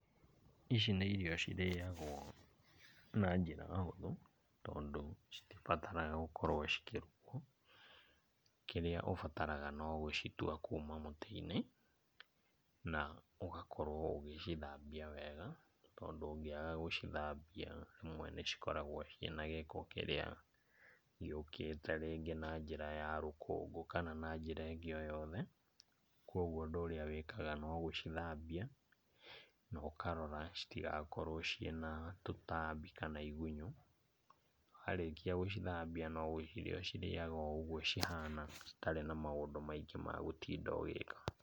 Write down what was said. Ici nĩ irio cirĩagwo na njĩra hũthũ tondũ citibataraga gũkorwo cikĩrugwo. Kĩrĩa ũbataraga no gũcitua kuma mũtĩ-inĩ na ũgakorwo ũgĩcithambia wega, tondũ ũgĩaga gũcithambia rĩmwe nĩcikoragwo ciĩna gĩko kĩrĩa gĩũkĩte rĩngĩ na njĩra ya rũkũngũ kana na njĩra ĩngĩ o yothe. Kuoguo, ũndũ ũra wĩkaga no gũcithambia na ũkarora citigakorwo ciĩna tũtambi kana tũgunyũ. Warĩkia gũcithambia no gũcirĩa ũcirĩaga o ũguo cihana citarĩ na maũndũ maingĩ ma gũtinda ũgĩka.